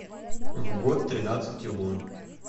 в год тринадцати лун